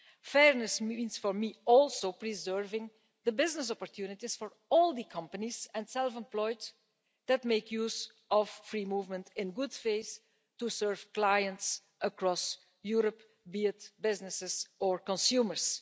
Fairness means for me also preserving the business opportunities for all the companies and the self employed that make use of free movement in good faith to serve clients across Europe, be it businesses or consumers.